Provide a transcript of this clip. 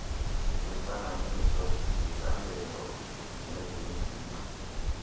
lweentlanganiso zecandelo nezengingqi